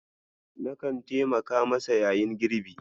Na kan taimaka masa yayin girbi.